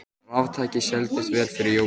Raftæki seldust vel fyrir jólin